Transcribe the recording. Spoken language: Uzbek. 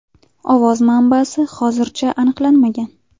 Ovoz manbasi hozircha aniqlanmagan.